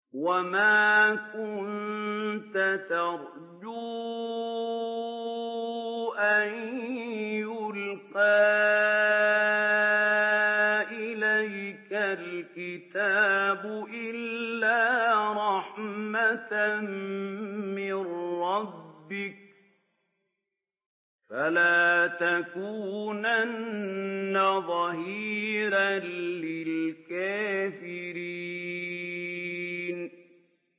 وَمَا كُنتَ تَرْجُو أَن يُلْقَىٰ إِلَيْكَ الْكِتَابُ إِلَّا رَحْمَةً مِّن رَّبِّكَ ۖ فَلَا تَكُونَنَّ ظَهِيرًا لِّلْكَافِرِينَ